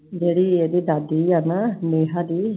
ਜਿਹੜੀ ਇਹਦੀ ਦਾਦੀ ਆ ਨਾ ਨੇਹਾ ਦੀl